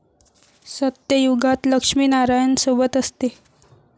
सत्ययुगात लक्ष्मी नारायण सोबत असते